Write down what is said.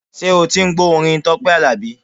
Ṣé o ti ń gbọ́ orin Tọ́pẹ́ Àlàbí?